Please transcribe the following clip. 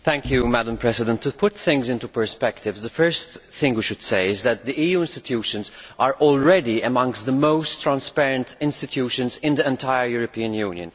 Madam President, to put things into perspective, the first thing we should say is that the EU institutions are already amongst the most transparent institutions in the entire European Union.